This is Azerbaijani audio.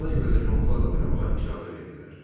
Ona görə də Qombula da oynamağa icazə verdilər.